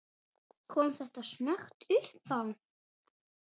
Kom þetta snöggt uppá?